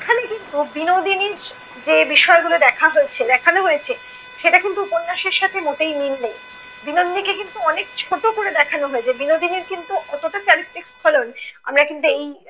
কিন্তু বিনোদিনীর যে বিষয়গুলি দেখা হয়েছে দেখান হয়েছে, সেটা কিন্তু উপন্যাসের সাথে মোটেই মিল নেই। বিনোদিনীকে কিন্তু অনেক ছোট করে দেখানো হয়েছে। বিনোদিনীর কিন্তু অতটা চারিত্রিক স্খলন আমরা কিন্তু এই